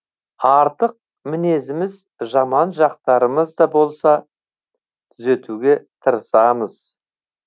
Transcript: артық мінезіміз жаман жақтарымыз да болса түзетуге тырысамыз